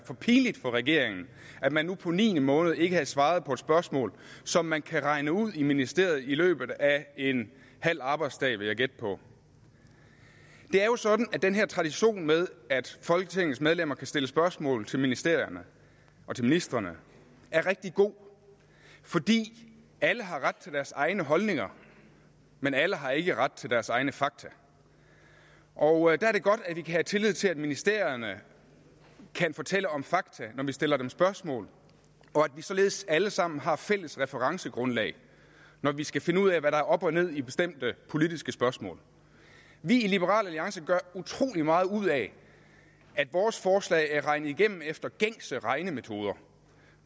for pinligt for regeringen at man nu på niende måned ikke havde svaret på et spørgsmål som man kan regne ud i ministeriet i løbet af en halv arbejdsdag vil jeg gætte på det er jo sådan at den her tradition med at folketingets medlemmer kan stille spørgsmål til ministerierne og til ministrene er rigtig god fordi alle har ret til deres egne holdninger men alle har ikke ret til deres egne fakta og er det godt at vi kan have tillid til at ministerierne kan fortælle om fakta når vi stiller dem spørgsmål og at vi således alle sammen har fælles referencegrundlag når vi skal finde ud af hvad der er op og ned i bestemte politiske spørgsmål vi i liberal alliance gør utrolig meget ud af at vores forslag er regnet igennem efter gængse regnemetoder